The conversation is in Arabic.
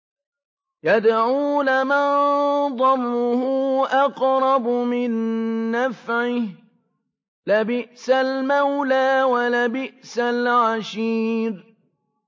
يَدْعُو لَمَن ضَرُّهُ أَقْرَبُ مِن نَّفْعِهِ ۚ لَبِئْسَ الْمَوْلَىٰ وَلَبِئْسَ الْعَشِيرُ